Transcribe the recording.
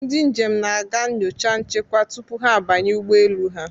Ndị njem na-aga nyocha nchekwa tupu ha abanye ụgbọ elu ha.